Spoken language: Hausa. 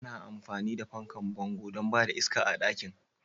Ana amfani da fankan bango don ba da iska ga ɗakin.